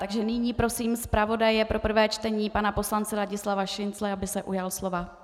Takže nyní prosím zpravodaje pro prvé čtení pana poslance Ladislava Šincla, aby se ujal slova.